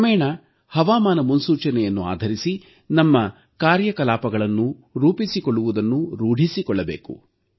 ಕ್ರಮೇಣ ಹವಾಮಾನ ಮುನ್ಸೂಚನೆಯನ್ನು ಆಧರಿಸಿ ನಮ್ಮ ಕಾರ್ಯಕಲಾಪಗಳನ್ನು ರೂಪಿಸಿಕೊಳ್ಳುವುದನ್ನು ರೂಢಿಸಿಕೊಳ್ಳಬೇಕು